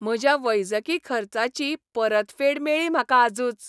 म्हज्या वैजकी खर्चाची परतफेड मेळ्ळी म्हाका आजूच.